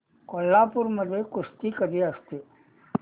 कोल्हापूर मध्ये कुस्ती कधी असते